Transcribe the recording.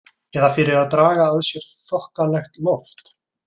Eða fyrir að draga að sér þokkalegt loft.